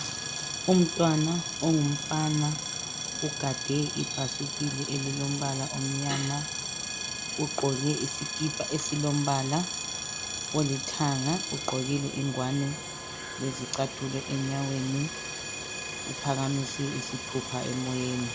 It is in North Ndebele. Umntwana ongumfana ugade ibhasikili elilombala omnyama, ugqoke isikipa esilombala olithanga. Ugqokile ingwane lezicathulo enyaweni. Uphakamise isithupha emoyeni.